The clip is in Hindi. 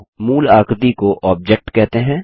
मूल आकृति को Objectऑब्जेक्ट कहते हैं